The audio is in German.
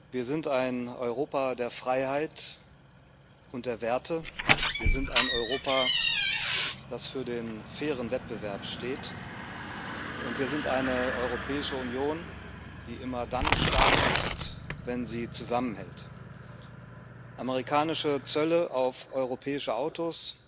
Wir sind ein Europa der Freiheit und der Werte, wir sind ein Europa, das für den fairen Wettbewerb steht, und wir sind eine Europäische Union, die immer dann stark ist, wenn sie zusammenhält. Amerikanische Zölle auf europäische Autos,